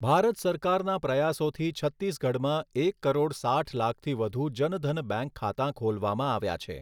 ભારત સરકારના પ્રયાસોથી છત્તીસગઢમાં એક કરોડ સાઇઠ લાખથી વધુ જનધન બેંક ખાતા ખોલવામાં આવ્યા છે.